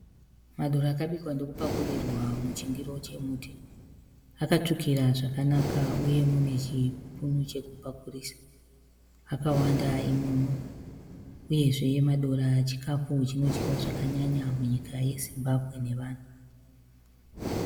Madora akabikwa ndokupakurirwa muchindiro chemuti. Akatsvukira zvakanaka uye mune chipunu chekupakurisa. Akawanda imomo, uyezve madora chikafu chinodyiwa zvakanyanya munyika yeZimbabwe nevanhu.